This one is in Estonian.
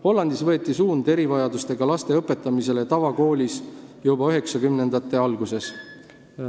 Hollandis võeti suund erivajadustega laste õpetamisele tavakoolis juba 1990-ndate alguses.